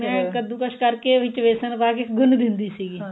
ਮੈ ਕੱਦੂਕਸ ਕਰਕੇ ਵਿੱਚ ਵੇਸਣ ਪਾਕੇ ਗੁੰਨ ਦਿੰਦੀ ਸੀਗੀ